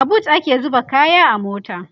a booth ake zuba kaya a mota